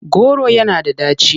Kolanut is bitter.